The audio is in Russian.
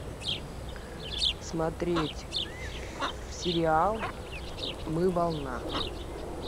смотреть сериал мы волна